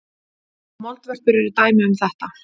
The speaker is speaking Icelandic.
Moldvörpur eru dæmi um þetta.